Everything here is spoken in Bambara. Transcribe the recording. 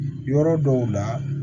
Yɔrɔ dɔw la